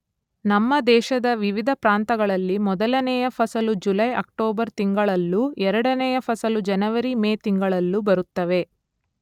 ನಮ್ಮ ದೇಶದ ವಿವಿಧ ಪ್ರಾಂತಗಳಲ್ಲಿ ಮೊದಲನೆಯ ಫಸಲು ಜುಲೈ, ಅಕ್ಟೋಬರ್ ತಿಂಗಳಲ್ಲೂ ಎರಡನೆಯ ಫಸಲು ಜನವರಿ, ಮೇ ತಿಂಗಳಲ್ಲೂ ಬರುತ್ತವೆ.